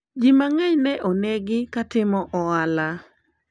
watu wengi waliuwawa wakiwemo wanabiashara